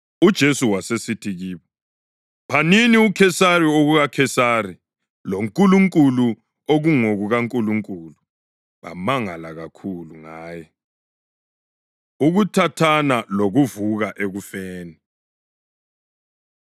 UJesu wasesithi kubo, “Phanini uKhesari okukaKhesari loNkulunkulu okungokukaNkulunkulu.” Bamangala kakhulu ngaye. Ukuthathana Lokuvuka Ekufeni